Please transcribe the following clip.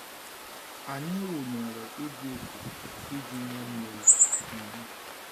Anyị wụnyere igwe ikuku iji nye mmiri. um